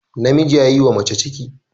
Namiji ya yiwa mace ciki